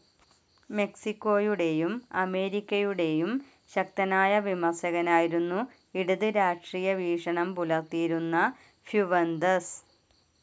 മെക്‌സിക്കോയുടെയും അമേരിക്കയുടെയും ശക്തനായ വിമർശകനായിരുന്നു ഇടത് രാഷ്ട്രീയ വീക്ഷണം പുലർത്തിയിരുന്ന ഫ്യുവന്തസ്.